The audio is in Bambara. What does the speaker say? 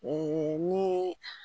ni